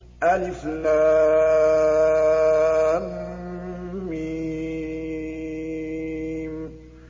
الم